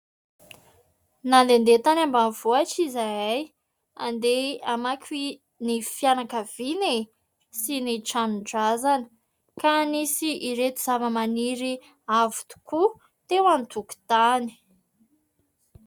Nandehandeha tany ambanivohitra izahay, andeha hamangy ny fianakaviana e ! Sy ny tranon-drazana, ka nisy ireto zava-maniry avo tokoa teo an-tokotany.